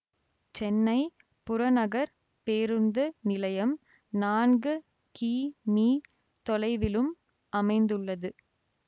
சென்னை புறநகர் பேருந்து நிலையம் நான்கு கி மீ தொலைவிலும் அமைந்துள்ளது